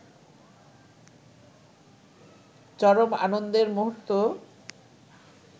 চরম আনন্দের মুহূর্ত